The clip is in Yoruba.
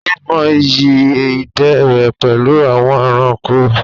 Ó mọ ìyí ìdè rẹ̀ pẹ̀lú àwọn ẹranko.